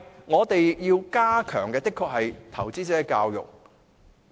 我們要加強的是投資者教育。